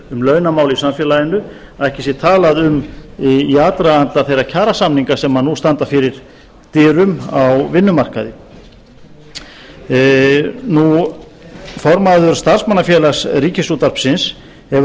um launamál í samfélaginu að ekki sé talað um í aðdraganda þeirra kjarasamninga sem nú standa fyrir dyrum á vinnumarkaði formaður starfsmannafélags ríkisútvarpsins hefur